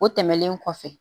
O tɛmɛnen kɔfɛ